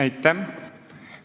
Aitäh!